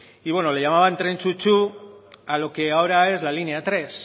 y bueno le llamaba el tren chu chu a lo que ahora es la línea tres